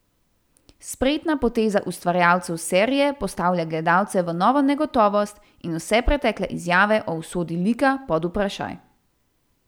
Spretna poteza ustvarjalcev serije postavlja gledalce v novo negotovost in vse pretekle izjave o usodi lika pod vprašaj.